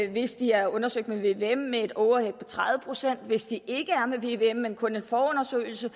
hvis de er undersøgt med vvm er indregnet et overhead på tredive procent hvis de ikke er med vvm undersøgelse men kun en forundersøgelse